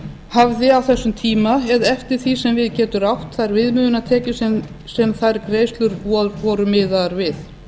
hafði á þessum tíma eða eftir því sem við getur átt þær viðmiðunartekjur sem þær greiðslur voru miðaðar við